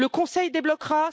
Le Conseil la débloquera.